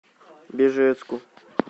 бежецку